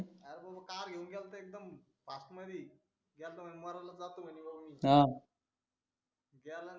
अरे भाऊ कार घेऊन गेला होता एकदम आत मध्ये आता म्हणे मरूनच जातो म्हणे वरून गेला आणि